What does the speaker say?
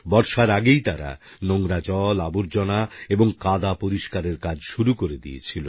বর্ষার আগেই তারা নোংরা জল আবর্জনা এবং কাদা পরিষ্কারের কাজ শুরু করে দিয়েছিল